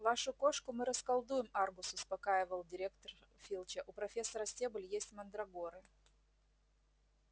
вашу кошку мы расколдуем аргус успокаивал директор филча у профессора стебль есть мандрагоры